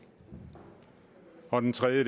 og den tredje